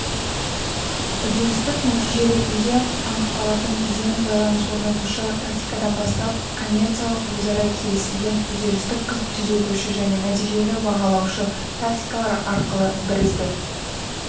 үдерістік-нәтиже ретінде анықталатын кезең байланыс орнатушы тактикадан бастап коммерциялық-өзара келісілген үдерістік-түзетуші және нәтижелі-бағалаушы тактикалар арқылы бірізді